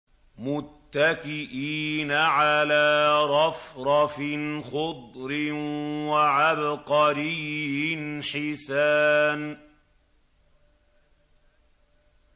مُتَّكِئِينَ عَلَىٰ رَفْرَفٍ خُضْرٍ وَعَبْقَرِيٍّ حِسَانٍ